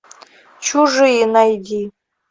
чужие найди